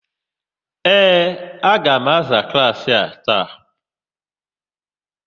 Ee, a ga-aza klaasị a taa.